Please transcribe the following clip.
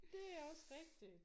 Det er også rigtigt